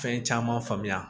Fɛn caman faamuya